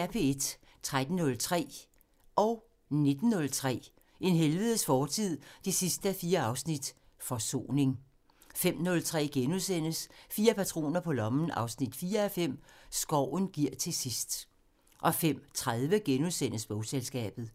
13:03: En helvedes fortid 4:4 – Forsoning 19:03: En helvedes fortid 4:4 – Forsoning 05:03: Fire patroner på lommen 4:5 – Skoven giver til sidst * 05:30: Bogselskabet *